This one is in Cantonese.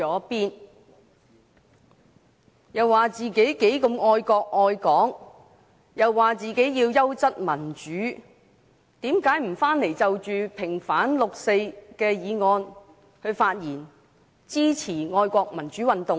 他們聲稱自己愛國愛港和追求優質民主，為何他們不回來就平反六四的議案發言，支持愛國民主運動呢？